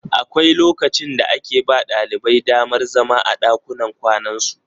Akwai lokacin da ake ba ɗalibai damar zama a ɗakunan kwanansu.